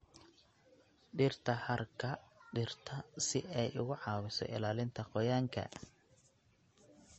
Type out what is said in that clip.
Dhirta hadhka dhirta si ay uga caawiso ilaalinta qoyaanka.